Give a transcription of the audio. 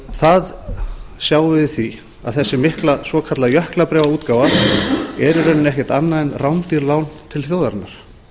það sjáum við því að þessi mikla svokallaða jöklabréfaútgáfa er í rauninni ekkert annað heldur en rándýr lán til þjóðarinnar